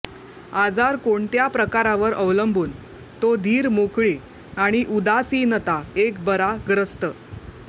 आजार कोणत्या प्रकारावर अवलंबून तो धीर मोकळी आणि उदासीनता एक बरा ग्रस्त